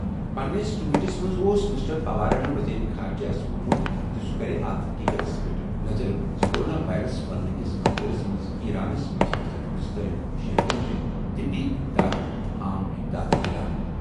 پننِس ٹویٹَس منٛز اوس مسٹر پوارَن وزیرِ خارجہ یَس ووٚنمُت زِ سُہ کرِ اَتھ حٔقیٖقتس پٮ۪ٹھ نظر زِ کورونا وائرس پھیلنہٕ کِس منظرَس منٛز ایرانَس منٛز پھٔسِتھ ہندوستٲنۍ شہرین چھِ طبی امداد تہٕ عام امداد مِلان۔